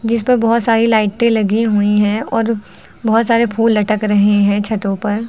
इस पर बहुत सारी लाइटें लगी हुई हैं और बहुत सारे फूल लटक रहे हैं छतों पर।